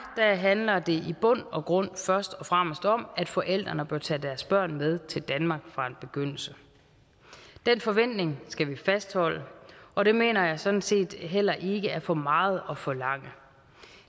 handler det i bund og grund først og fremmest om at forældrene bør tage deres børn med til danmark fra en begyndelse den forventning skal vi fastholde og det mener jeg sådan set heller ikke er for meget at forlange